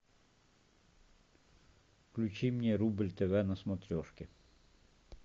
включи мне рубль тв на смотрешке